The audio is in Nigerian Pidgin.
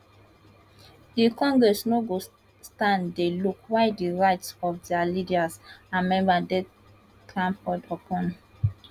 di congress no go stand dey look while di rights of dia leaders and members dey trampled upon